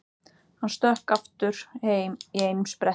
Hann stökk aftur heim í einum spretti.